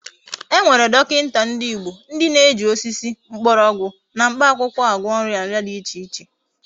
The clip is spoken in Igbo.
E Nwekwara dokinta ndi Igbo ndi na eji osisi, mgborogwu na mkpa akwukwo agwo nria nria di iche iche